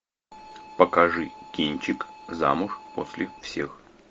покажи кинчик замуж после всех